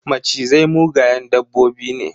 Macizai mugayen dabbobi ne.